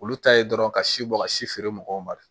Olu ta ye dɔrɔn ka si bɔ ka si feere mɔgɔw ma